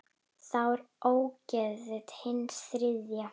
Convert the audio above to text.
Þá er ógetið hins þriðja.